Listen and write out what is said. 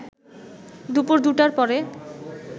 দুপুর ২টার পরে